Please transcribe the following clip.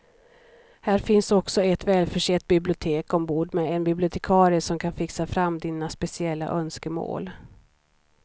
Här finns också ett välförsett bibliotek ombord med en bibliotekarie som kan fixa fram dina speciella önskemål.